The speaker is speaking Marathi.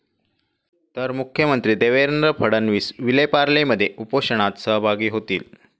तर मुख्यमंत्री देवेंद्र फडणवीस विलेपार्लेमध्ये उपोषणात सहभागी होतील.